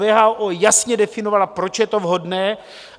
WHO jasně definovala, proč je to vhodné.